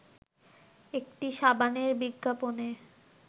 একটি সাবানের বিজ্ঞাপনে